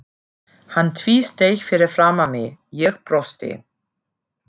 Hann tvísteig fyrir framan mig, ég brosti.